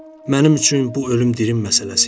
Mənim üçün bu ölüm dirim məsələsi idi.